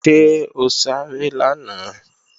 Ṣé o sáré lánàá?